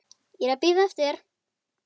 Ég er að bíða eftir þér.